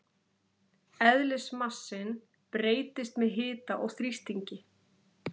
Eðlismassinn breytist með hita og þrýstingi.